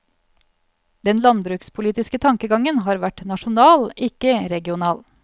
Den landbrukspolitiske tankegangen har vært nasjonal, ikke regional.